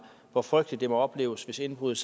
hvor frygteligt det må opleves hvis indbruddet